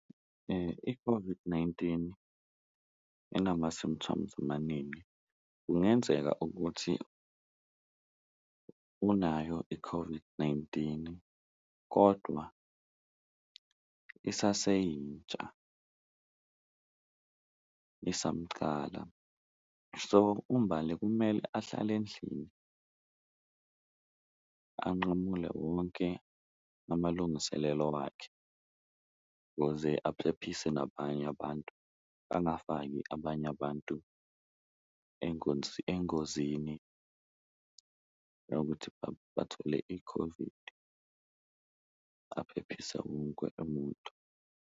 I-COVID-19 inama-symptoms amaningi, kungenzeka ukuthi unayo i-COVID-19 kodwa isaseyintsha isamcala. So, uMbali kumele ahlale endlini anqamule wonke amalungiselelo wakhe kuze aphephise nabanye abantu, angafaki abanye abantu engozini nokuthi bathole i-COVID aphephise wonke umuntu.